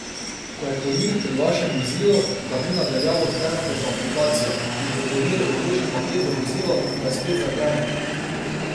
Ko je kurir pri vašem vozilu, ga vi na daljavo odklenete z aplikacijo, in ko kurir odloži paket v vozilo, ga spet zaklenete.